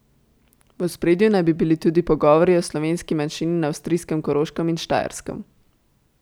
V ospredju naj bi bili tudi pogovori o slovenski manjšini na avstrijskem Koroškem in Štajerskem.